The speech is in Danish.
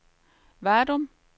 Vadum